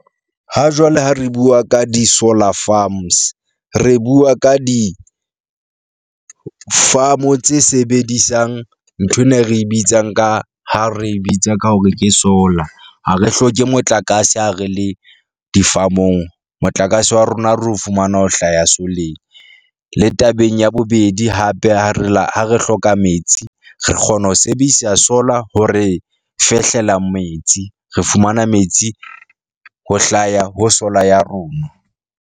Hajwale ha re bua ka di-solar farms. Re bua ka di-farm-u tse sebedisang nthwena e re bitsang ka ha re bitsa ka hore ke solar, ha re hloke motlakase ha re le di-farm-mong. Motlakase wa rona re o fumana ho hlaya soleng, le tabeng ya bobedi, hape ha re la ha re hloka metsi. Re kgona ho sebedisa solar ho re fehlela metsi. Re fumana metsi ho hlaya ho solar ya rona.